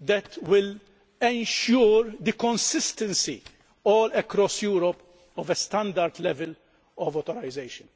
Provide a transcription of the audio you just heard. that will ensure the consistency, all across Europe, of a standard level of authorisation.